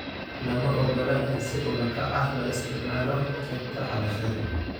Lama ogola in si ula kac ah loo isticmaalo qaybta cabashada.